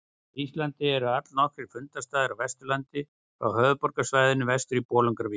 Á Íslandi eru allnokkrir fundarstaðir á Vesturlandi frá höfuðborgarsvæðinu vestur í Bolungarvík.